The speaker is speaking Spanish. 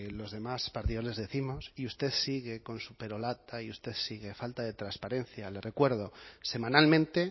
los demás partidos les décimos y usted sigue con su perorata y usted sigue falta de transparencia le recuerdo semanalmente